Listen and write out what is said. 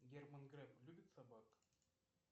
герман греф любит собак